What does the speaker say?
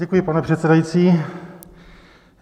Děkuji, pane předsedající.